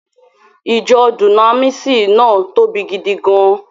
Ìjọ Dúnámíìsì náà tóbi gidi gan-an